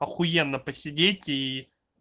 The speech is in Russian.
ахуенно посидеть и